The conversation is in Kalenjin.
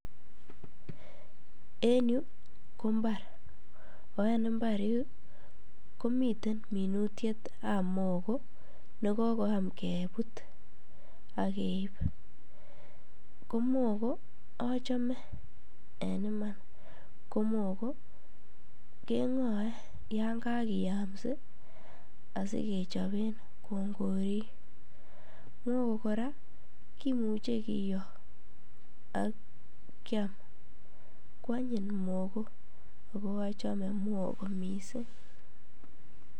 En yuu ko mbar oo en imbar yuu komiten minutietab mogo nekokoyam kebut akeib, ko mogo achome en iman, ko mogo keng'oe yon kakiyamsi asikechoben kongorik, mogo kora kimuche kiyoo ak kiam, kwanyiny mogo ak ko achome mogo mising.